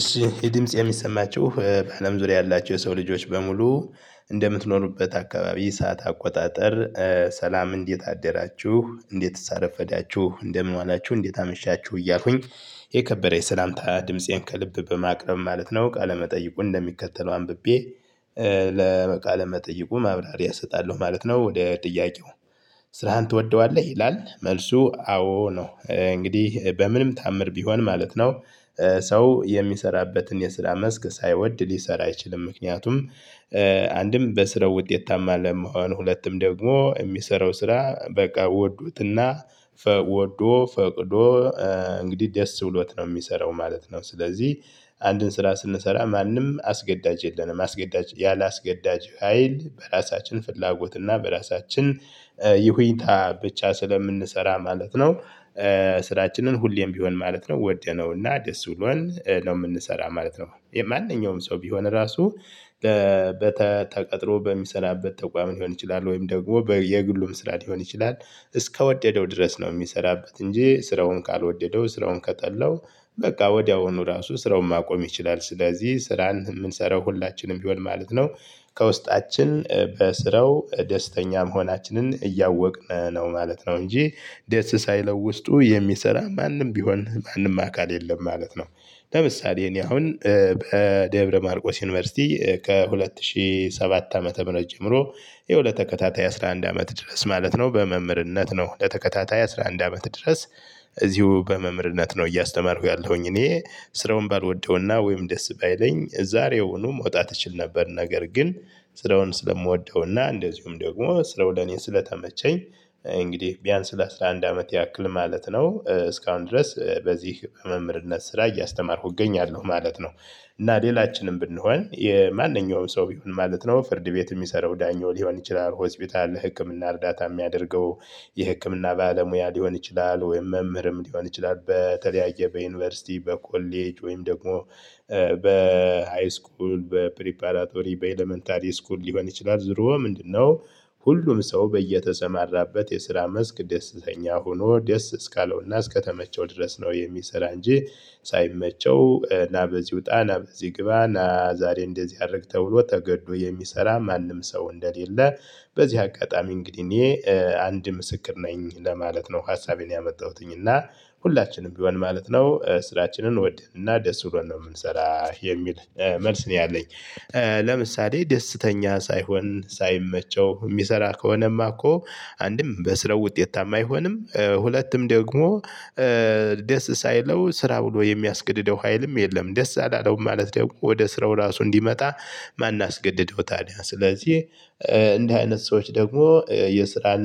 እሺ የድምጽ የሚሰማችሁ በአለም ዙሪያ ያላቸው የሰው ልጆች በሙሉ እንደምትኖሩበት አካባቢ ሰዓት አቆጣጠር ሰላም እንዴት አደራችሁ እንዴትስ አረፈዳችሁ እንደምን ዋላችሁ እንዴት አመሻችሁ እያልኩኝ ይሄ ከበረ የሰላምታ ድምፄን ከልብ በማቅረብ ማለት ነው ቃለ መጠይቁን እንደሚከተለው አንብቤ ለቃለ መጠይቁ ማብራሪያ እሰጣለሁ ማለት ነው ወደ ጥያቄው? ስራህን ትወደዋለህ ይላል መልሱ አዎ ነው እንግዲህ በምንም ተአምር ቢሆን ማለት ነው። ሰው የሚሰራበትን የስራ መስክ ሳይወድ ሊሰራ አይችልም። ምክንያቱም። አንድም በስራው ውጤታማ ለመሆን ሁለቱም ደግሞ የሚሰራው ስራ በቃ ወዶትና ወዶ ፈቅዶ እንግዲህ ደስ ብሎት ነው የሚሰራው ማለት ነው። ስለዚህ አንድን ስራ ስንሰራ ማንም አስገዳጅ የለንም አስገዳጅ ያላስገዳጅ ሀይል በራሳችን ፍላጎት እና በራሳችን ይሁንታ ብቻ ስለምንሰራ ማለት ነው። ስራችንን ሁሌም ቢሆን ማለት ነው ወደነውና ደስ ብሎን ነው የምንሰራው ማለት ነው። ማንኛውም ሰው ቢሆን ራሱ በተቀጥሮ በሚሰራበት ተቋም ሊሆን ይችላል ወይም ደግሞ በየግሉም ስራ ሊሆን ይችላል እስከወደደው ድረስ ነው የሚሰራበት እንጂ ስራውን ካልወደደው ስራውን ከጠላው በቃ ወዲያውኑ ራሱ ስራውን ማቆም ይችላል። ስለዚህ ስራን የምንሰራው ሁላችንም ቢሆን ማለት ነው። ከውስጣችን በስራው ደስተኛ መሆናችንን እያወቅን ነው ማለት ነው እንጂ ደስ ሳይለው ውስጡ የሚሰራ ማንም ቢሆን ማንም አካል የለም ማለት ነው። ለምሳሌ እኔ አሁን በደብረ ማርቆስ ዩኒቨርሲቲ ከሁለት ሺህ ሰባት ዓመተ ምህረት ጀምሮ ይሄው ለተከታታይ አስራ አንድ አመት ድረስ ማለት ነው በመምህርነት ነው። ለተከታታይ አስራ አንድ አመት ድረስ እዚሁ በመምርነት ነው እያስተማርኩ ያለሁኝ እኔ። ስራውን ባልወደውና ወይም ደስ ባይለኝ ዛሬውኑም መዉጣት እችል ነበር። ነገር ግን ስራውን ስለምወደውና እንደዚሁም ደግሞ ስራው ለኔ ስለተመቸኝ እንግዲህ ቢያንስ ለአሥራ አንድ አመት ያክል ማለት ነው እስካሁን ድረስ በዚህ በመምህርነት ስራ እያስተማርኩ እገኛለሁ ማለት ነው። እና ሌላችንም ብንሆን የማንኛውም ሰው ይሁን ማለት ነው ፍርድ ቤት የሚሰራው ዳኛው ሊሆን ይችላል ሆስፒታል ህክምና እርዳታ የሚያደርገው የህክምና ባለሙያ ሊሆን ይችላል ወይም መምህርም ሊሆን ይችላል በተለያየ በዩኒቨርሲቲ በኮሌጅ ወይም ደግሞ በሃይስኩል በፕሪፓራቶሪ በኤለመንታሪ ስኩል ሊሆን ይችላል። ዝሮ ምንድነው? ሁሉን ሰው በየተሰማራበት የስራ መስክ ደስተኛ ሆኖ ደስ እስካለውና እስከተመቸው ድረስ ነው የሚሰራ እንጂ ሳይመቸው እና በዚህ ውጣ እና በዚህ ግባ እና ዛሬ እንደዚህ አድርግ ተብሎ ተገዶ የሚሰራ ማንም ሰው እንደሌለ። በዚህ አጋጣሚ እንግዲህ እኔ አንድ ምስክር ነኝ ለማለት ነው። ሀሳቤን ያመጣሁትኝ እና ሁላችንም ቢሆን ማለት ነው ስራችንን ወደንና ደስ ብሎን ነው የምንሰራው የሚል መልስ ነው ያለኝ። ለምሳሌ ደስተኛ ሳይሆን ሳይመቸው የሚሰራ ከሆነማ እኮ አንድም በስራው ውጤታማ አይሆንም። ሁለትም ደግሞ ደስ ሳይለው ስራ ብሎ የሚያስገድደው ሀይልም የለም። ደስ አላለውም ማለት ደግሞ ወደ ስራው ራሱ እንዲመጣ? ማን አስገድደው ታዲያ ስለዚህ። እንደዚህ አይነት ሰዎች ደግሞ የስራን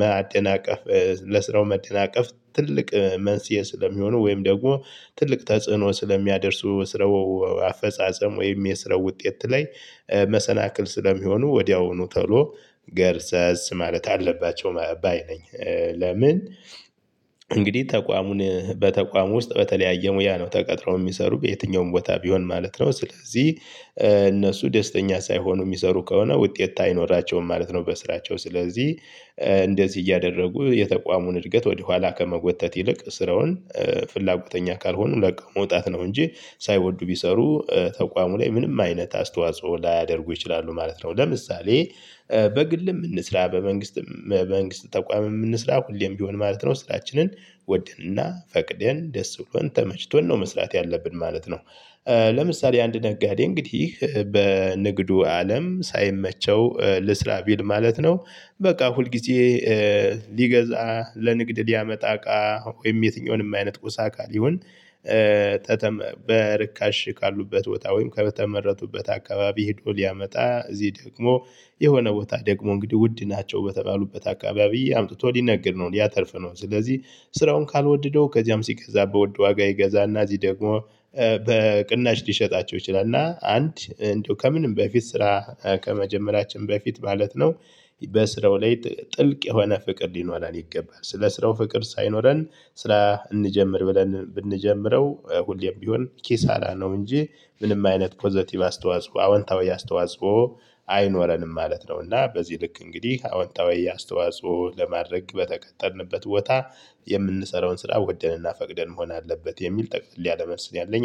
ማደናቀፍ ለስራው መደናቀፍ ትልቅ መንስኤ ስለሚሆኑ ወይም ደግሞ ትልቅ ተጽዕኖ ስለሚያደርሱ ስራው አፈጻጸም ወይም የስራው ውጤት ላይ መሰናክል ስለሚሆኑ ወዲያውኑ ተሎ ገርሰስ ማለት አለባቸው። መባይ ነኝ ለምን? እንግዲህ ተቋሙን በተቋሙ ውስጥ በተለያየ ሙያ ነው ተቀጥረው የሚሰሩ በየትኛውም ቦታ ቢሆን ማለት ነው ስለዚህ እነሱ ደስተኛ ሳይሆኑ የሚሰሩ ከሆነ ውጤት አይኖራቸውም ማለት ነው። በስራቸው ስለዚህ እንደዚህ እያደረጉ የተቋሙን እድገት ወደ ኋላ ከመጎተት ይልቅ ስራውን። ፍላጎተኛ ካልሆኑ ለቀው መውጣት ነው እንጂ ሳይወዱ ቢሰሩ ተቋሙ ላይ ምንም አይነት አስተዋጽኦ ላያደርጉ ይችላሉ ማለት ነው። ለምሳሌ በግልም እንስራ በመንግስትም በመንግስት ተቋምም እንስራ ሁሌም ቢሆን ማለት ነው ስራችንን ወደንና ፈቅደን ደስ ብሎን ተመችቶን ነው መስራት ያለብን ማለት ነው። ለምሳሌ አንድ ነጋዴ እንግዲህ በንግዱ አለም ሳይመቸው ልስራ ቢል ማለት ነው። በቃ ሁልጊዜ ሊገዛ ለንግድ ቢያመጣ እቃ ወይም የትኛውንም አይነት ቁስ አካል ይሁን። በርካሽ ካሉበት ቦታ ወይም ከተመረጡበት አካባቢ ሄዶ ሊያመጣ እዚህ ደግሞ የሆነ ቦታ ደግሞ እንግዲህ ውድ ናቸው በተባሉበት አካባቢ አምጥቶ ሊነግድ ነው ሊያተርፍ ነው። ስለዚህ ስራውን ካልወደደው ከዚያም ሲገዛ በውድ ዋጋ ይገዛና እዚህ ደግሞ በቅናሽ ሊሸጣቸው ይችላል። እና አንድ እንደው ከምንም በፊት ስራ ከመጀመራችን በፊት ማለት ነው። በስራው ላይ ጥልቅ የሆነ ፍቅር ሊኖረን ይገባል። ስለ ስራው ፍቅር ሳይኖረን ስራ እንጀምር ብለን ብንጀምረው ሁሌም ቢሆን ኪሳራ ነው እንጂ ምንም አይነት ፖዘቲቭ አስተዋጽኦ አወንታዊ አስተዋጽኦ አይኖረንም ማለት ነው። እና በዚህ ልክ እንግዲህ አወንታዊ አስተዋጽኦ ለማድረግ በተቀጠርንበት ቦታ የምንሰራውን ስራ ወደንና ፈቅደን መሆን አለበት የሚል ጠቅለል ያለ መልስ ነው። ያለኝ